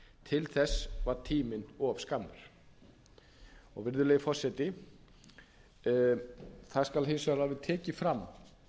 til þess var tíminn of skammur virðulegi forseti það skal hins vegar alveg tekið fram